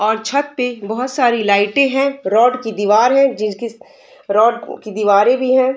और छत पे बहुत सारी लाइटे हैं | रौड की दिवार है जिस की रोड की दिवारे भी है |